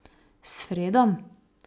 S Fredom?